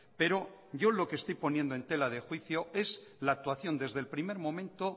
pero yo lo que estoy poniendo en tela de juicio es la actuación desde el primer momento